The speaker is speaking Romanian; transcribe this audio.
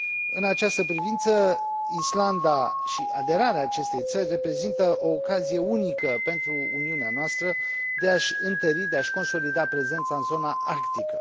În această privință, Islanda și aderarea acestei țări reprezintă o ocazie unică pentru Uniunea noastră de a și întări, de a și consolida prezența în zona arctică.